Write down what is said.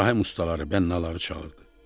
İbrahim ustaları, bənnuları çağırdı.